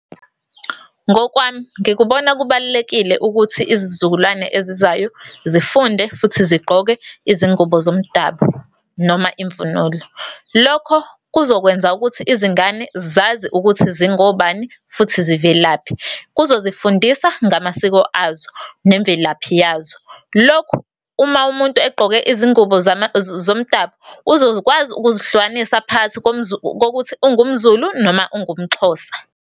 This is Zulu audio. Ngokwami ngikubona kubalulekile ukuthi izizukulwane ezizayo zifunde futhi zigqoke izingubo zomdabu noma imvunulo. Lokho kuzokwenza ukuthi izingane zazi ukuthi zingobani, futhi zivelaphi. Kuzozifundisa ngamasiko azo nemvelaphi yazo. Lokhu uma umuntu egqoke izingubo zomdabu, uzokwazi ukuzihlukanisa phakathi kokuthi ungumZulu noma ungumXhosa.